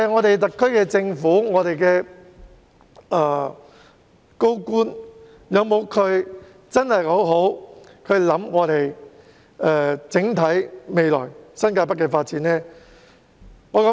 特區政府和高官有否好好考慮新界北未來的整體發展呢？